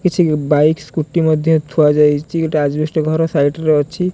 କିଛି bike scooty ମଧ୍ୟ ଥୁଆ ଯାଇଚି ଗୋଟେ ଆଜବେଷ୍ଟ ଘର ସାଇଟ ରେ ଅଛି।